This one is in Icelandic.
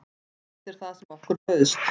Þetta er það sem okkur bauðst